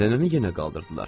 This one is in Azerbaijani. Nənəni yenə qaldırdılar.